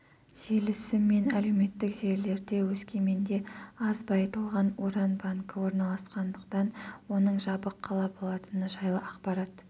желісі мен әлеуметтік желілерде өскеменде аз байытылған уран банкі орналасқандықтан оның жабық қала болатыны жайлы ақпарат